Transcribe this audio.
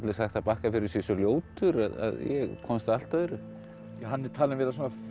sagt að Bakkafjörður sé svo ljótur en ég komst að allt öðru hann er talinn vera